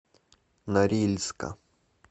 норильска